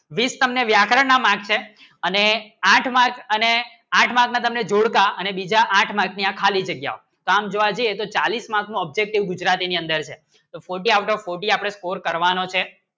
બીસ તમને વ્યાકરણ ના mark છે અને આઠ mark અને આઠ mark ને તમે જોડતા અને બીજા આઠ mark ને ખાલી જગ્યાઓ કામ કરવા છે એક સો ચાલીસ mark નો objective ગુજ્રરાતી ને અંદર છે તો forty out of forty score કરવાનું છે